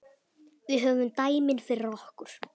Við höfum dæmin fyrir okkur.